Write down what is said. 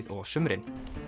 og á sumrin